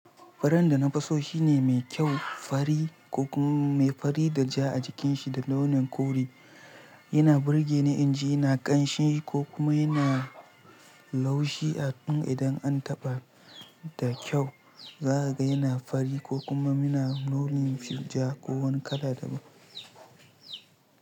Furan da na fi so shine mai kyau fari ko kuma mai fari da ja a jikinshi da launin kori. Yana burge ni in ji yana ƙanshi ko kuma yana laushi a ɗum idan an taɓa da kyau. Za a ga yana fari ko kuma muna launin ja ko wani kala daban.